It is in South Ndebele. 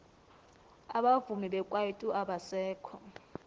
abavumi bekwaito abasekho